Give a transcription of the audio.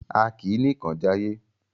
A kì í nìkan jayé.